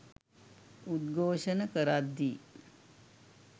උද්ඝෝෂණ කරද්දී